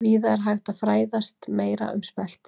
Víða er hægt að fræðast meira um spelti.